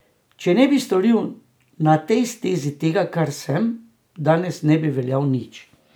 Če ne bi storil na tej stezi tega, kar sem, danes ne bi veljal nič.